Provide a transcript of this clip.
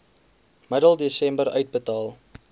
middel desember uitbetaal